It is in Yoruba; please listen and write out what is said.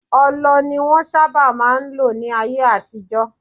Ọlọ ni wọnsábà má n lò ní ayé àtijọ́.